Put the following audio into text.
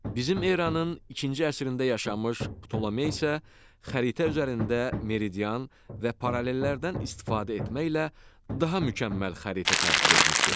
Bizim eranın ikinci əsrində yaşamış Ptolemey isə xəritə üzərində meridian və paralellərdən istifadə etməklə daha mükəmməl xəritə tərtib etmişdir.